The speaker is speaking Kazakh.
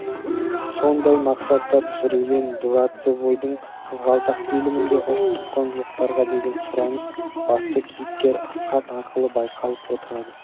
сондай мақсатта түсірілген дворцевойдың қызғалдақ фильмінде ұлттық құндылықтарға деген сұраныс басты кейіпкер асхат арқылы байқалып отырады